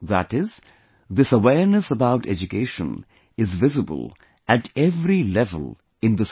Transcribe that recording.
That is, this awareness about education is visible at every level in the society